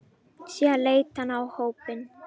Síðan leit hann á hópinn.